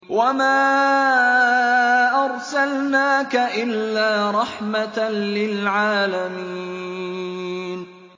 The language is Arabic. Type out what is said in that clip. وَمَا أَرْسَلْنَاكَ إِلَّا رَحْمَةً لِّلْعَالَمِينَ